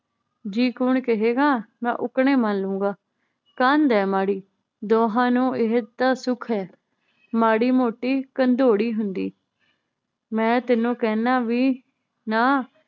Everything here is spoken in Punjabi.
ਜੀ ਕੂਣ ਕਹੇਂਗਾ ਮੈ ਉੱਕਣੇ ਮੰਨਲੂੰਗਾ ਕੰਧ ਏ ਮਾੜੀ ਦੋਹਾਂ ਨੂੰ ਇਹ ਤਾਂ ਸੁਖ ਹੈ ਮਾੜੀ ਮੋਤੀ ਕੰਧੋੜੀ ਹੁੰਦੀ ਮੈ ਤੈਨੂੰ ਕਹਿੰਨਾ ਵੀ ਨਾ